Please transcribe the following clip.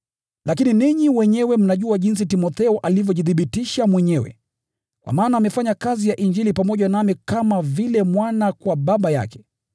Lakini ninyi wenyewe mnajua jinsi Timotheo alivyojithibitisha mwenyewe, kwa maana ametumika pamoja nami kwa kazi ya Injili, kama vile mwana kwa baba yake.